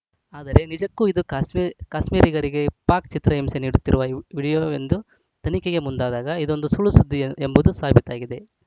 ಆದರೆ ನಿಜಕ್ಕೂ ಇದು ಕಾಶ್ಮೀರ್ ಕಾಶ್ಮೀರಿಗರಿಗೆ ಪಾಕ್‌ ಚಿತ್ರಹಿಂಸೆ ನೀಡುತ್ತಿರುವ ವಿ ವಿಡಿಯೋವೆ ಎಂದು ತನಿಖೆಗೆ ಮುಂದಾದಾಗ ಇದೊಂದು ಸುಳ್ಳುಸುದ್ದಿ ಎಂಬುದು ಸಾಬೀತಾಗಿದೆ